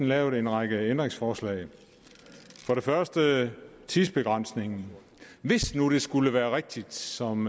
lavet en række ændringsforslag for det første er der tidsbegrænsningen hvis nu det skulle være rigtigt som